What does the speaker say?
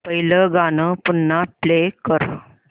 पहिलं गाणं पुन्हा प्ले कर